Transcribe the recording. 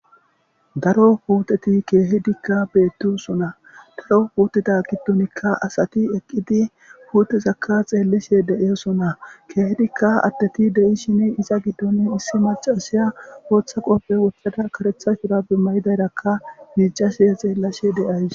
Daro putteti keehidikka beetossona,daro puttetta giidoppekka asatti eqqidossona,asatti pltteza xeelishe dee'etees .keehidiikka adetikka de'ishin maccatti,iza giddon issi maccassiya boththa qofe woththada kareththa mayo mayadus